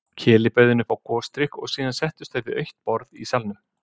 Keli bauð henni upp á gosdrykk og síðan settust þau við autt borð í salnum.